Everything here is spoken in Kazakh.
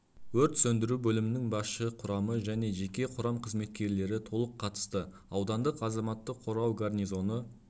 өрт сөндіру бөлімінің басшы құрамы және жеке құрам қызметкерлері толық қатысты аудандық азаматтық қорғау гарнизоны